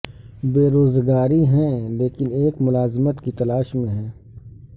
بے روزگاری ہیں لیکن ایک ملازمت کی تلاش میں ہیں